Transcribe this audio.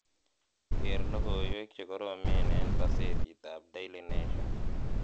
geer logoiwek chegoromen en gosetit ab daily nation